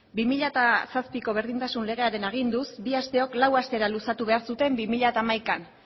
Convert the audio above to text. bi mila zazpiko berdintasun legearen aginduz bi asteok lau astera luzatu behar zuten bi mila hamaikan